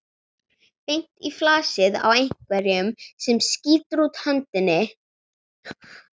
Beint í flasið á einhverjum sem skýtur út hönd og þrífur um handlegginn á honum.